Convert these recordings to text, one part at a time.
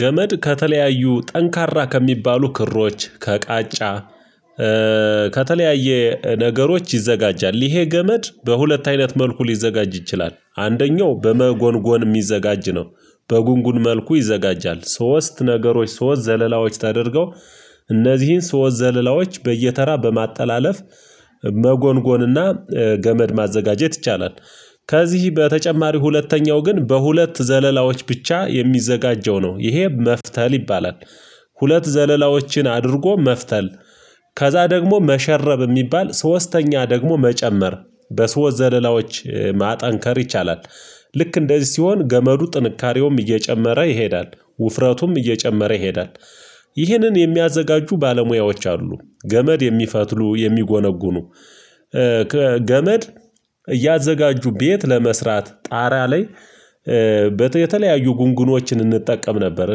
ገመድ ከተለያዩ ጠንካራ ከሚባሉ ክሮች ከቃጫ ከተለያየ ነገሮች ይዘጋጃል ይሄ ገመድ በሁለት አይነት መልኩ ሊዘጋጅ ይችላል አንደኛው በመጎንጎን የሚዘጋጅ ነው። በጉንጉን መልኩ ይዘጋጃል ሶስት ነገሮች ሶስት ዘለላዎች ተደርገው እነዚህን ሶስት ዘለላዎች በየተራ በማጣላለፍ መጎንጎንና ገመድ ማዘጋጀት ይቻላል። ከዚህ በተጨማሪ ሁለተኛው ግን በሁለት ዘለላዎች ብቻ የሚዘጋጀው ነው ይሄ መፍተል ይባላል። ሁለት ዘለላዎችን አድርጎ መፍተል ከዚያ ደግሞ መሸረብ የሚባል ሶስተኛ ደግሞ መጨመር በሶስት ዘለላዎች ማጠንከር ይቻላል። ልክ እንደዚህ ሲሆን ገመዱ ጥንካሬውም እየጨመረ ይሄዳል ውፍረቱም እየጨመረ ይሄዳል። ይህንን የሚያዘጋጁ ባለሙያዎች አሉ ገመድ የሚፈትሉ የሚጎነጉኑ ገመድ እያዘጋጁ ቤት ለመስራት ጣራ ላይ የተለያዩ ጉንጉኖችን እንጠቀም ነበር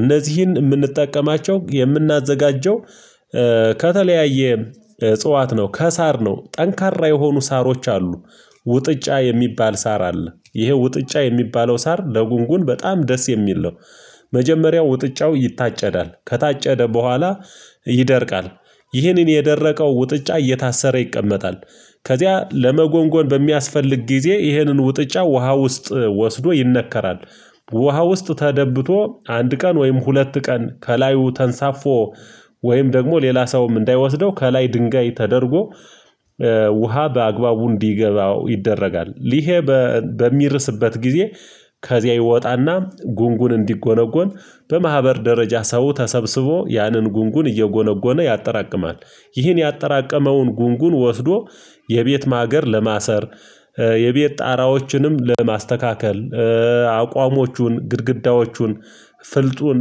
እነዚህን ምንጠቀማቸው የምናዘጋጀው። ከተለያየ እጽዋት ነው ከሳር ነው ጠንካራ የሆኑ ሳሮች አሉ። ውጥጫ የሚባል ሳር አለ ይሄ ውጥጫ የሚባለው ሳር ለጉንጉን በጣም ደስ የሚል ነው። መጀመሪያ ውጥጫው ይታጨዳል ከታጨደ በኋላ ይደርቃል ይህን የደረቀው ውጥጫ እየታሰረ ይቀመጣል። ከዚያ ለመጎንጎን በሚያስፈልግ ጊዜ ይህንን ውጥጫ ውሃ ውስጥ ወስዶ ይነከራል። ውሃ ውስጥ ተደብቶ አንድ ቀን ወይም ሁለት ቀን ከላዩ ተንሳፎ ወይም ደግሞ ሌላ ሰውም እንዳይወስደው ከላይ ድንጋይ ተደርጎ ውሃ በአግባቡ እንዲገባው ይደረጋል ይሄ በሚርስበት ጊዜ። ከዚያ ይወጣና ጉንጉን እንዲጎነጎን በማህበር ደረጃ ሰው ተሰብስቦ ያንን ጉንጉን እየጎነጎነ ያጠራቅማል። ይህን ያጠራቀመውን ጉንጉን ወስዶ የቤት ማገር ለማሰር የቤት ጣራዎችንም ለማስተካከል አቋሞቹን ግድግዳዎቹን ፍልጡን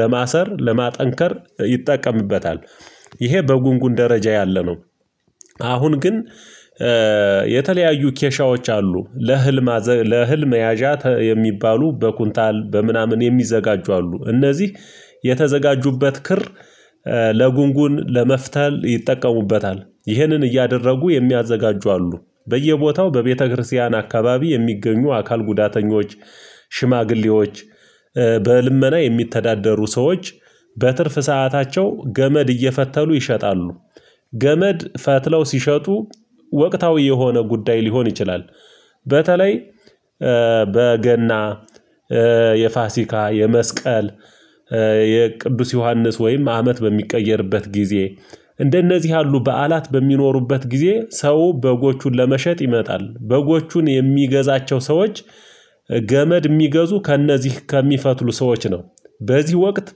ለማሰር ለማጠንከር ይጠቀምበታል። ይሄ በጉንጉን ደረጃ ያለ ነው። አሁን ግን የተለያዩ ኬሻዎች አሉ። ለእህል መያዣ የሚባሉ በኩንታል በምናምን የሚዘጋጁ አሉ እነዚህ የተዘጋጁበት ክር ለጉንጉን ለመፍተል ይጠቀሙበታል ይህንን እያደረጉ የሚያዘጋጁ አሉ። በየቦታው በቤተክርስቲያን አካባቢ የሚገኙ አካል ጉዳተኞች ሽማግሌዎች በልመና የሚተዳደሩ ሰዎች በትርፍ ሰዓታቸው ገመድ እየፈተሉ ይሸጣሉ። ገመድ ፈትለው ሲሸጡ ወቅታዊ የሆነ ጉዳይ ሊሆን ይችላል። በተለይ በገና የፋሲካ የመስቀል የቅዱስ ዮሐንስ ወይም አመት በሚቀየርበት ጊዜ እንደነዚህ ያሉ በዓላት በሚኖሩበት ጊዜ ሰው በጎቹን ለመሸጥ ይመጣል በጎቹን የሚገዛቸው ሰዎች ገመድ ሚገዙ ከእነዚህ ከሚፈትሉ ሰዎች ነው። በዚህ ወቅት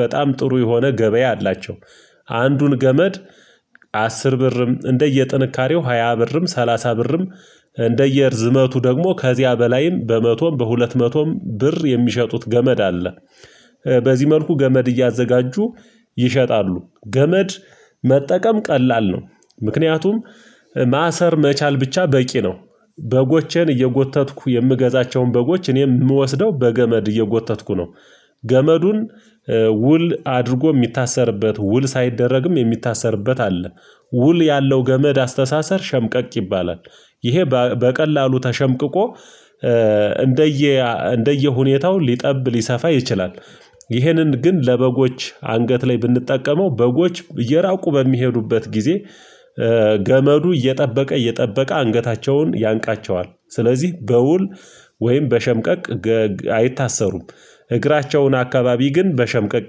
በጣም ጥሩ የሆነ ገበያ አላቸው። አንዱን ገመድ አስር ብርም እንደየ ጥንካሬው ሃያ ብርም ሰላሳ ብርም እንደየ እርዝመቱ ደግሞ ከዚያ በላይም በመቶም በሁለት መቶም ብር የሚሸጡት ገመድ አለ። በዚህ መልኩ ገመድ እያዘጋጁ ይሸጣሉ ገመድ መጠቀም ቀላል ነው። ምክንያቱም ማሰር መቻል ብቻ በቂ ነው። በጎቼን እየጎተትኩ የምገዛቸውን በጎች እኔም የምወስደው በገመድ እየጎተትኩ ነው። ገመዱን ውል አድርጎ ሚታሰርበት ውል ሳይደረግም የሚታሰርበት አለ። ውል ያለው ገመድ አስተሳሰር ሸምቀቅ ይባላል። ይሄ በቀላሉ ተሸምቅቆ እንደየ ሁኔታው ሊጠብ ሊሰፋ ይችላል። ይህንን ግን ለበጎች አንገት ላይ ብንጠቀመው በጎች እየራቁ በሚሄዱበት ጊዜ ገመዱ እየጠበቀ እየጠበቀ አንገታቸውን ያንቃቸዋል ስለዚህ በውል ወይም በሸምቀቅ አይታሰሩም። እግራቸውን አካባቢ ግን በሸምቀቅ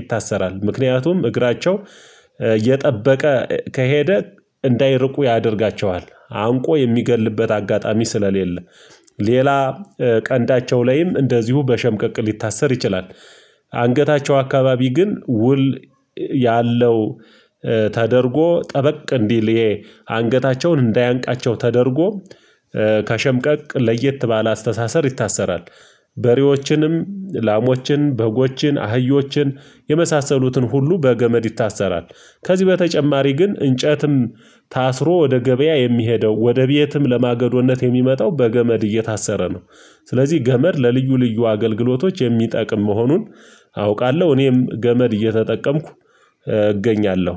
ይታሰራል ምክንያቱም እግራቸው እየጠበቀ ከሄደ እንዳይርቁ ያደርጋቸዋል አንቆ የሚገድልበት አጋጣሚ ስለሌለ። ሌላ ቀንዳቸው ላይም እንደዚሁ በሸምቀቅ ሊታሰር ይችላል። አንገታቸው አካባቢ ግን ውል ያለው ተደርጎ ጠበቅ እንዲል ይሄ አንገታቸውን እንዳያንቃቸው ተደርጎ ከሸምቀቅ ለየት ባለ አስተሳሰር ይታሰራል። በሬዎችንም ላሞችን በጎችን አህዮችን የመሳሰሉትን ሁሉ በገመድ ይታሰራል። ከዚህ በተጨማሪ ግን እንጨትም ታስሮ ወደ ገበያ የሚሄደው ወደ ቤትም ለማገዶነት የሚመጣው በገመድ እየታሰረ ነው። ስለዚህ ገመድ ለልዩ ልዩ አገልግሎቶች የሚጠቅም መሆኑን አውቃለሁ። እኔም ገመድ እየተጠቀምኩ እገኛለሁ